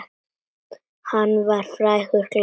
Hann var frægur glanni.